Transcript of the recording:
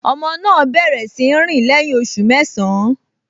Ọmọ náà bẹ̀rẹ̀ sí í rìn lẹ́yìn oṣù mẹ́sàn-án